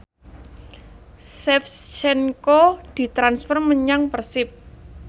Shevchenko ditransfer menyang Persib